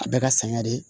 A bɛɛ ka sɛgɛn de